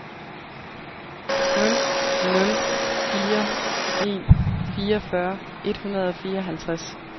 nul nul fire en fireogfyrre et hundrede og fireoghalvtreds